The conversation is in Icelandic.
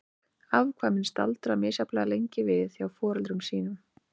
Afkvæmin staldra misjafnlega lengi við hjá foreldrum sínum.